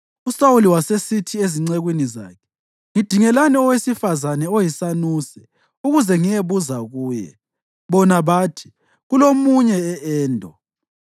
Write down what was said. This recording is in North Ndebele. USawuli wasesithi encekwini zakhe, “Ngidingelani owesifazane oyisanuse ukuze ngiyebuza kuye.” Bona bathi, “Kulomunye e-Endo.”